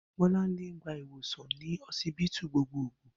Bó̩lánlé ń gba iwòsàn ní ho̩sibítù gbogboogbò